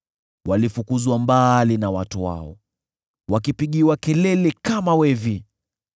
Walifukuzwa mbali na watu wao, wakipigiwa kelele kama wevi.